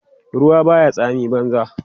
ruwa Baya tsami banza